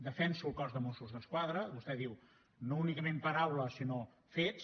defenso el cos de mossos d’esquadra vostè diu no únicament paraules sinó fets